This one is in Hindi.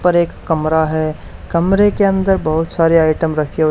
उपर एक कमरा है। कमरे के अंदर बहोत सारे आइटम रखे हो--